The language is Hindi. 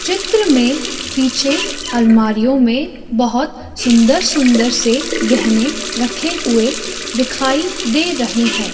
चित्र में पीछे आलमारियों में बहुत सुंदर सुंदर से गहने रखे हुए दिखाई दे रहे हैं।